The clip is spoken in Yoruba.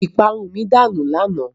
Ìparun mi danù lánàá.